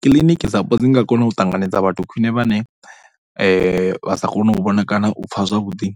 Kiḽiniki dzapo dzi nga kona u ṱanganedza vhathu khwine vhane vha sa kone u vhona kana u pfha zwavhuḓi.